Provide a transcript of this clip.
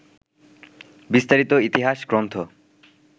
বিস্তারিত ইতিহাস গ্রন্থ